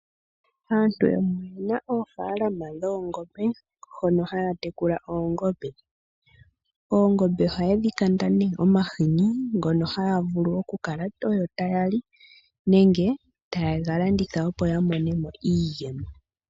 Aantu yamwe oye na oofaalama dhoongombe mono haa munu oongombe. Oongombe ohaye dhi kanda omahini ngono haa vulu okukala ogo taya li, nenge ye ga landithe po, opo ya mone mo iiyemo.